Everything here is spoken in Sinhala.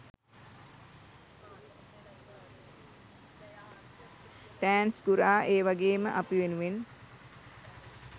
තෑන්ක්ස් ගුරා ඒවගේම අපි වෙනුවෙන්